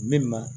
Min ma